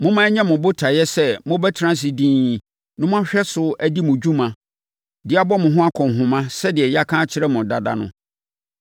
Momma ɛnyɛ mo botaeɛ sɛ mobɛtena ase dinn na moahwɛ so adi mo dwuma de abɔ mo ho akɔnhoma sɛdeɛ yɛaka akyerɛ mo dada no.